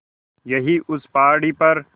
यहीं उस पहाड़ी पर